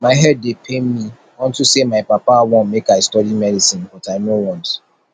my head dey pain me unto say my papa wan make i study medicine but i no want